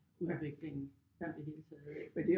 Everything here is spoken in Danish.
Udvikling i det hele taget ik